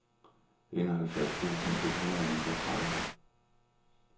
enoghalvfjerds tusind et hundrede og niogtredive